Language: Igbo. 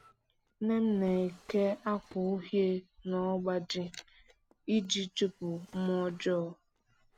Nne m na-eke akwa uhie n'ọbaji iji chụpụ mmụọ ọjọọ